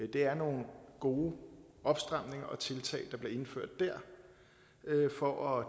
det er nogle gode opstramninger og tiltag der bliver indført der for at